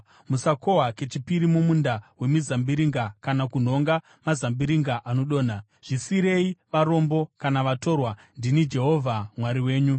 Musakohwa kechipiri mumunda wemizambiringa kana kunhonga mazambiringa adonha. Zvisiyire varombo kana vatorwa. Ndini Jehovha Mwari wenyu.